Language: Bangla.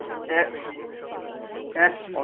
এক এক